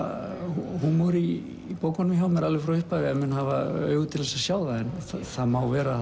húmor í bókunum hjá mér alveg frá upphafi ef menn hafa augu til þess að sjá það en það má vera að